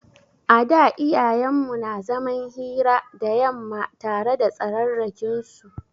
A da iyayen mu na zaman hira da yamma tare da tsararrakin su.